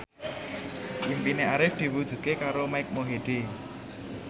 impine Arif diwujudke karo Mike Mohede